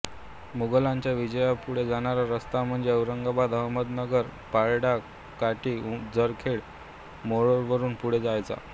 मोगलांचा विजापूरकडे जाणारा रस्ता म्हणजे औरंगाबाद अहमदनगर परंडा काटी जरखेड मोहोळवरून पुढे जायचा